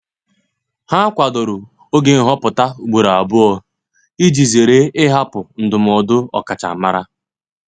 Ha kwadoro oge nhọpụta ugboro abụọ iji zere ịhapụ ndụmọdụ ọkachamara.